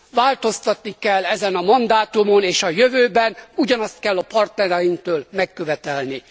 Változtatni kell ezen a mandátumon, és a jövőben ugyanazt kell a partnereinktől megkövetelni.